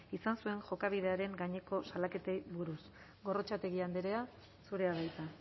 izan zuen jokabidearen gaineko salaketei buruz gorrotxategi andrea zurea da hitza